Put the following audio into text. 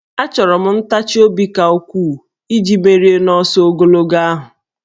Achọrọ m ntachi obi ka ukwuu iji merie n'ọsọ ogologo ahụ